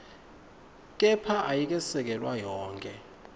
kepha ayikesekelwa yonkhe